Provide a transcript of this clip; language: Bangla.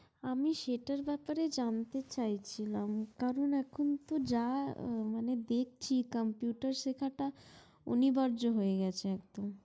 আমি সেটার ব্যাপারে জানতে চাইছিলাম কারণ এখন যা দেখছি মানে computer শেখা তা অনিবার্য হয়ে গেছে একদম